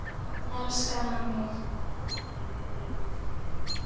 Elskar hann mig?